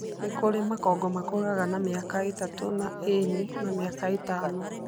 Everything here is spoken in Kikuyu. Nĩ kũrĩ makongo makũraga na mĩaka ĩtatu na ĩnĩ na mĩaka ĩtano.